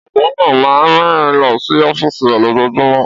Ọ̀jọ̀gbọ́n náà máa ń rìn lọ sí ọ́fíìsì rẹ̀ lójoojúmọ́.